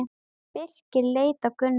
Birkir leit á Gunnar.